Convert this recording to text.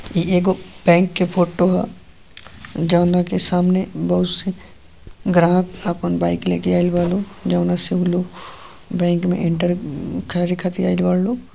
इ एगो बैंक के फोटो ह। जौना के सामने बहोत से ग्राहक आपन बाइक लेके आईल बा लोग। जौना से ऊ लोग बैंक में एंटर करे खातिर आईल बा लोग।